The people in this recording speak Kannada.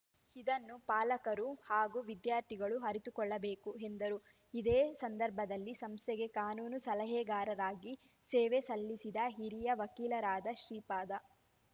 ಇದನ್ನು ಪಾಲಕರೂ ಹಾಗೂ ವಿದ್ಯಾರ್ಥಿಗಳು ಅರಿತುಕೊಳ್ಳಬೇಕು ಎಂದರು ಇದೇ ಸಂದರ್ಭದಲ್ಲಿ ಸಂಸ್ಥೆಗೆ ಕಾನೂನು ಸಲಹೆಗಾರರಾಗಿ ಸೇವೆ ಸಲ್ಲಿಸಿದ ಹಿರಿಯ ವಕೀಲರಾದ ಶ್ರೀಪಾದ